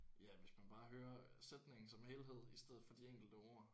Ja hvis man bare hører sætningen som helhed i stedet for de enkelte ord